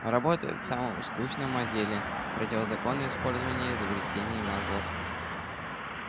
работает в самом скучном отделе противозаконное использование изобретений маглов